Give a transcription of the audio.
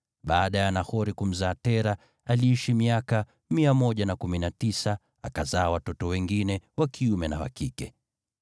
Baada ya Nahori kumzaa Tera, aliishi miaka 119, akazaa watoto wengine wa kiume na wa kike.